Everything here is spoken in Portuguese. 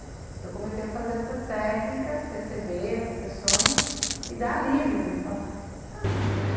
Então eu comecei a fazer essas técnicas, receber essas sessões e dá alívio mesmo, a fazer, ah...